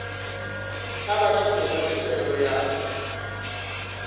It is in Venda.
kha vhashumi vha tshumelo ya